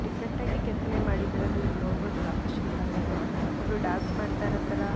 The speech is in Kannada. ಡಿಫ್ಫೆರೆಟ್ ಆಗಿ ಕೆತ್ತನೆ ಮಾಡಿರೋದು ಇಲ್ಲಿ ನೋಡಬಹುದು ವಾಸ್ತು ಶಿಲ್ಪಾರ್ಗಳ್ನ ಒಬ್ರು ಡಾನ್ಸ್ ಮಾಡ್ತಾ ಇರೋ ತರಾ --